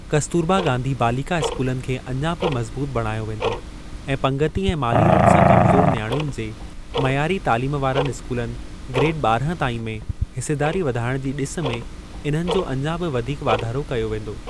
कस्तूरबा गांधी बालिका स्कूलनि खे अञां बि मज़बूत बणायो वेंदो ऐं पंगिती ऐं माली रूप सां कमज़ोर नियाणियुनि जे मइयारी तालीम वारनि स्कूलनि (ग्रेड ॿारहां ताईं) में हिसेदारी वधाइण जी ॾिस में इन्हनि जो अञां बि वधीक वाधारो कयो वेंदो।